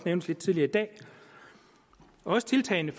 nævnt lidt tidligere i dag og tiltagene